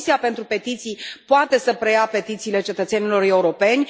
Comisia pentru petiții poate să preia petițiile cetățenilor europeni.